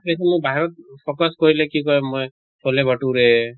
সেইখিনি বাহিৰত focus কৰিলে কি কয় মই চলে ভতুৰে